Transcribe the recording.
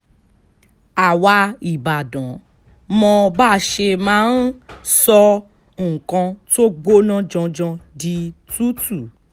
àwa ìbàdàn mọ báa ṣe máa ń sọ nǹkan tó gbóná janjan di tútù